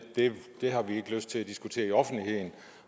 det har man ikke lyst til at diskutere i offentligheden